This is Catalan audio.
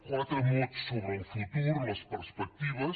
quatre mots sobre el futur les perspectives